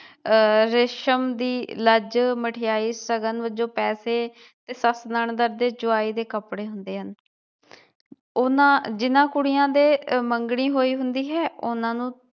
ਆਹ ਰੇਸ਼ਮ ਦੀ ਲੱਜ, ਮਠਿਆਈ, ਸ਼ਗਨ ਵਜੋਂ ਪੈਸੇ ਤੇ ਸੱਸ, ਨਨਦ ਤੇ ਜਵਾਈ ਦੇ ਕੱਪੜੇ ਹੁੰਦੇ ਹਨ ਉਹਨਾਂ ਜਿਨ੍ਹਾਂ ਕੁੜੀਆਂ ਦੇ ਮੰਗਣੀ ਹੋਈ ਹੁੰਦੀ ਹੈ ਉਹਨਾਂ ਨੂੰ